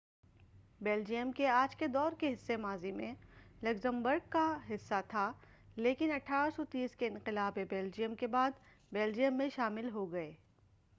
Belgium کے آج کے دور کے حصے ماضی میں لگزمبرگ کا حصہ تھے لیکن 1830 کے انقلابِ بیلجیئم کے بعد بیلجیئم میں شامل ہو گئے